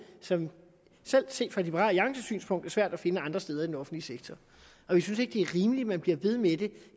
som selv set fra liberal alliances synspunkt er svært at finde andre steder i den offentlige sektor og vi synes ikke det er rimeligt at man bliver ved med det